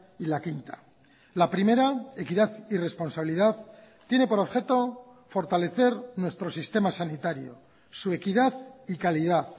y la quinta la primera equidad y responsabilidad tiene por objeto fortalecer nuestro sistema sanitario su equidad y calidad